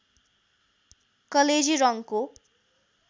कलेजी रङ्गको